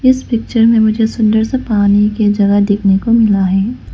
इस पिक्चर में मुझे सुंदर सा पानी का जगह देखने को मिला है।